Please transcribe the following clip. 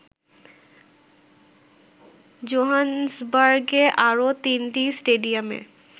জোহানেসবার্গের আরো তিনটি স্টেডিয়ামে